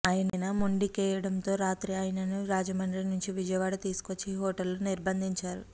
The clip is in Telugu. ఆయన మొండి కేయడంతో రాత్రి ఆయనను రాజమండ్రి నుంచి విజయవాడ తీసుకువచ్చి ఈ హోటల్ నిర్బంధించారు